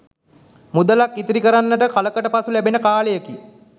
මුදලක්‌ ඉතිරි කරන්නට කලකට පසු ලැබෙන කාලයකි.